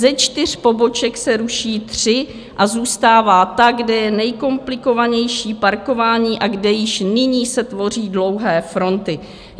Ze čtyř poboček se ruší tři a zůstává ta, kde je nejkomplikovanější parkování a kde již nyní se tvoří dlouhé fronty.